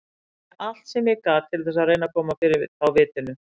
Ég gerði allt sem ég gat til þess að reyna að koma fyrir þá vitinu.